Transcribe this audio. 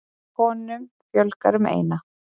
Konum fjölgar um eina.